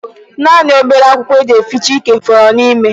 Naanị obere akwụkwọ e ji ehicha ike fọrọ n'ime.